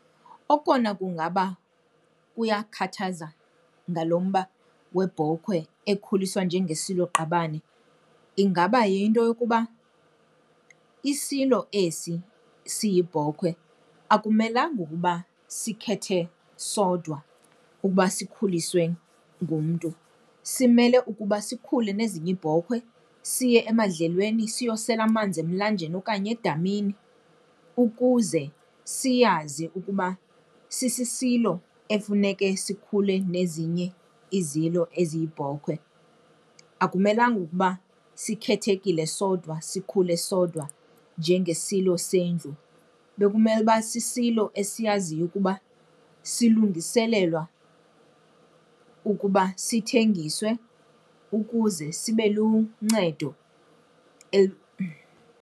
Okona kungaba kuyakhathaza ngalo mba webhokwe ekhuliswa njengesiloqabane ingaba yinto yokuba isilo esi siyibhokhwe akumelanga ukuba sikhethe sodwa ukuba sikhuliswe ngumntu. Simele ukuba sikhule nezinye iibhokwe, siye emadlelweni, siyosela amanzi emlanjeni okanye edamini ukuze siyazi ukuba sisisilo efuneke sikhule nezinye izilo eziyibhokhwe. Akumelanga ukuba sikhethekile sodwa, sikhule sodwa njengesilo sendlu. Bekumele uba sisilo esiyaziyo ukuba silungiselelwa ukuba sithengiswe ukuze sibe luncedo .